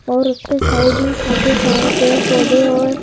और उसके साइड में काफी सारे पेड़-पौधे हैऔर--